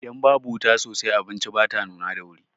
Idan babu wuta sosai, abinci bata nuna da wuri.